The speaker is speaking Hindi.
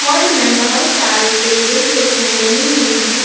हॉल मे बोहोत सारे टेबल कुर्सिया डली हुई हैं।